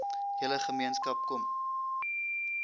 hele gemeenskap kom